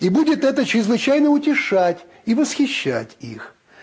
и будет это чрезвычайно утешать и восхищать их